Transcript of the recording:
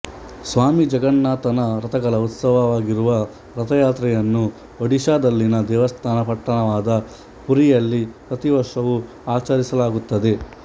ಸ್ವಾಮಿ ಜಗನ್ನಾಥನ ರಥಗಳ ಉತ್ಸವವಾಗಿರುವ ರಥ ಯಾತ್ರೆಯನ್ನು ಒಡಿಶಾದಲ್ಲಿನ ದೇವಸ್ಥಾನ ಪಟ್ಟಣವಾದ ಪುರಿಯಲ್ಲಿ ಪ್ರತಿ ವರ್ಷವೂ ಆಚರಿಸಲಾಗುತ್ತದೆ